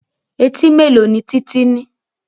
Etí mélòó ni Títí ní?